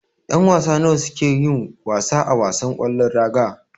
Yan wasa nawa ne suka suke yin wasa a wasan ƙwallon raga.